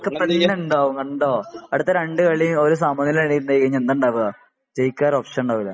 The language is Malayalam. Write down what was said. അതൊക്കെ തന്നെ ഉണ്ടാകും കണ്ടോ അടുത്ത രണ്ടു കളിയും ഒരു സമയ നില ആയികഴിഞ്ഞാ എന്താ ഉണ്ടാകാ ജയിക്കാ വേറെ ഓപ്ഷൻ ഉണ്ടാകൂല